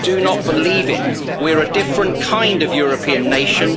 Do not believe it. We are a different kind of European nation.